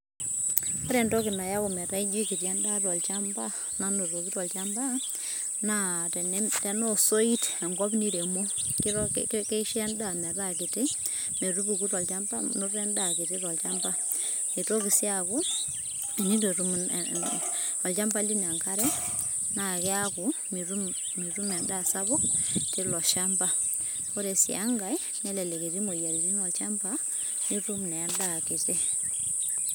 ore entoki nayau ometa ijio kiti endaa nanotoki tolchamba, nanotoki tolchamba na tena osoit enkop niremo, keisho endaa meeta kiti metupuku tolchamba noto endaa kiti tolchamba, etoki si akuu tenetu etum e e olchamba lino enkare na kiaku mitum endaa sapuk tilo shamba ore si enkae elelek eti imoyiaritin olchamba, nitum na endaa kiti.